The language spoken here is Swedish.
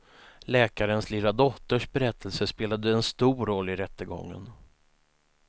Läkarens lilla dotters berättelse spelade en stor roll i rättegången.